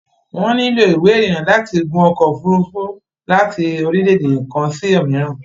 Wọ́n lílò Ìwé ìrìnnà láti gun ọkọ̀ òfurufú láti orílẹ̀dè kan sí òmíìràn